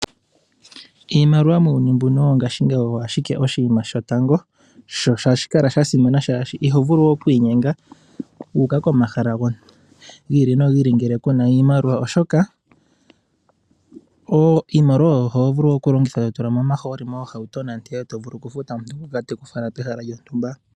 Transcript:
Iimaliwa muuyuni mbuno wongashingeyi owo ashike oshinima shotango, sho ohashi kala shasimana shaashi iho vulu okwiinyenga wu uka komahala gi ili nogi ili ngele ku na iimaliwa, oshoka iimaliwa oyo ho vulu okulongitha to tula mo omaaholi moohauto, nande to vulu okufuta omuntu ngoka te ku fala pehala lyontumba.